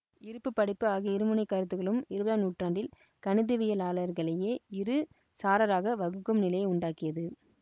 இருப்பு படைப்பு ஆகிய இருமுனைக்கருத்துகளும் இருபதாம் நூற்றாண்டில் கணிதவியலாளர்களையே இரு சாராராக வகுக்கும் நிலையை உண்டாக்கியது